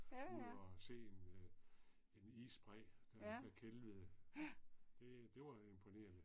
Ud og se en øh en isbræ der der kælvede. Det det var imponerende